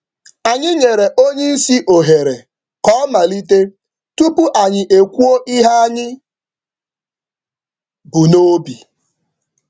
Anyị rịọrọ ka oga buru ụzọ duzie mkparịta ụka tupu anyị eweta ndụmọdụ anyị.